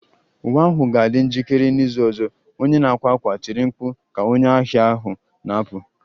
Uwe ahụ ga-adị njikere n'izu ọzọ! Onye na-akwa akwa tiri mkpu ka onye ahịa ahụ na-apụ